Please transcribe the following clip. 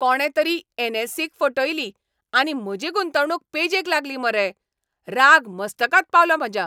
कोणें तरी एन.एस.ई. क फटयली आनी म्हजी गुंतवणूक पेजेक लागली मरे. राग मस्तकाक पावला म्हज्या.